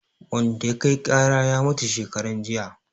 Wanda ya kai ƙara ya mutu shekaran jiya